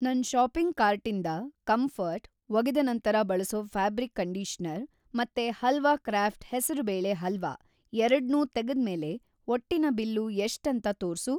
ನನ್‌ ಷಾಪಿಂಗ್‌ ಕಾರ್ಟಿಂದ ಕಂಫರ್ಟ್ ಒಗೆದ ನಂತರ ಬಳಸೋ ಫ಼್ಯಾಬ್ರಿಕ್‌ ಕಂಡೀಷನರ್ ಮತ್ತೆ ಹಲ್ವಾ ಕ್ರಾಫ಼್ಟ್ ಹೆಸರು ಬೇಳೆ ಹಲ್ವಾ ಎರಡ್ನೂ ತೆಗೆದ್ಮೇಲೆ ಒಟ್ಟಿನ ಬಿಲ್ಲು‌ ಎಷ್ಟಂತ ತೋರ್ಸು.